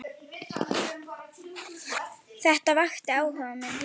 Þetta vakti áhuga minn.